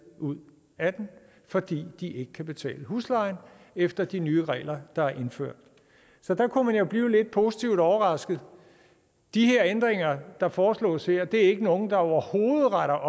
ud af den fordi de ikke kan betale huslejen efter de nye regler der er indført så der kunne man jo blive lidt positivt overrasket de ændringer der foreslås her er ikke nogen der overhovedet retter